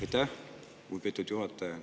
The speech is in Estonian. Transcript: Aitäh, lugupeetud juhataja!